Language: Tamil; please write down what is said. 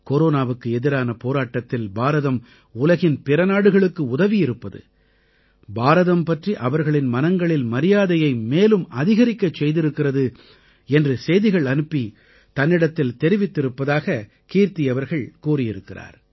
கொரோனாவுக்கு எதிரான போராட்டத்தில் பாரதம் உலகின் பிற நாடுகளுக்கு உதவியிருப்பது பாரதம் பற்றி அவர்களின் மனங்களில் மரியாதையை மேலும் அதிகரிக்கச் செய்திருக்கிறது என்று செய்திகள் அனுப்பித் தன்னிடத்தில் தெரிவித்திருப்பதாக கீர்த்தி அவர்கள் கூறியிருக்கிறார்